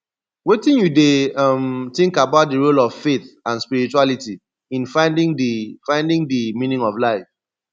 wetin you dey um think about di role of faith and spirituality in finding di finding di meaning of life